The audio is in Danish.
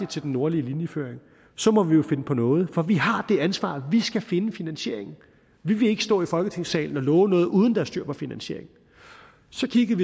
til den nordlige linjeføring og så må vi jo finde på noget for vi har det ansvar at vi skal finde en finansiering vi vil ikke stå i folketingssalen og love noget uden er styr på finansieringen så kiggede